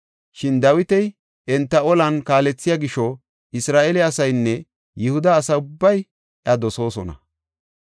Shin Dawiti enta olan kaalethiya gisho Isra7eele asaynne Yihuda asa ubbay iya dosoosona.